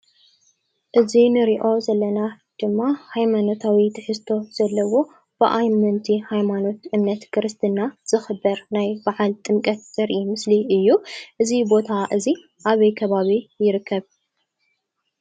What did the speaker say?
እዚ ንሪኦ ዘለና ድማ ሃይማኖታዊ ትሕዝቶ ዘለዎ ብአመንቲ ሃይማኖት እምነት ክርስትና ዝኽበር ናይ በዓል ጥምቀት ዘርኢ ምስሊ እዩ። እዚ ቦታ እዚ አበይ ከባቢ ይርከብ?